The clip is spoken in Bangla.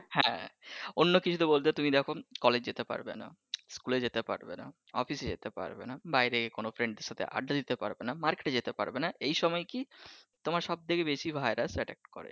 হ্যাঁ অন্য কিছু বলতে তুমি দেখো কলেজ যেতে পারবেনা স্কুলে যেতে পারবে নাহ অফিসে যেতে পারবেনা বাহিরে কোন friend এর সঙ্গে আড্ডা দিতে পারবেনা মার্কেটে যেতে পারবেনা এইসময় কি তোমার সব থেকে বেশি ভাইরাস attack করে।